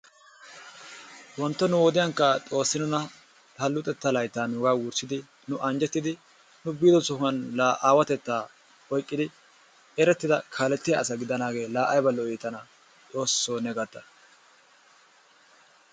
Wontto nu wodiyankka Xoossi nuna ha luxetta laytta nuuga wurssidi nu anjjetidi nu biido sohuwan la aawatetta oyqqidi erettida kaalletiyaa asa gidaanagee la aybba lo''i tana, Xoosso ne gata!